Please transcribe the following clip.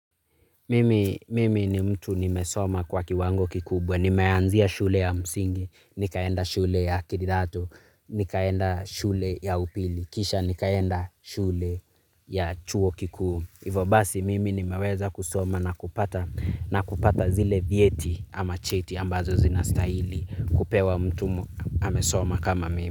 Mimi ni mtu nimesoma kwa kiwango kikubwa. Nimeanzia shule ya msingi, nikaenda shule ya kidato, nikaenda shule ya upili, kisha nikaenda shule ya chuo kikuu. Hivo basi mimi nimeweza kusoma nakupata na kupata zile vyeti ama cheti ambazo zinastahili. Kupewa mtu amesoma kama mimi.